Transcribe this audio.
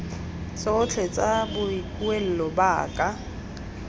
tsotlhe tsa boikuelo ba ka